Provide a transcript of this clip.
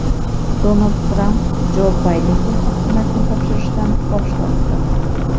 Donald Tramp Jo Baydenga hokimiyatni topshirishdan bosh tortdi.